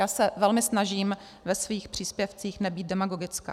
Já se velmi snažím ve svých příspěvcích nebýt demagogická.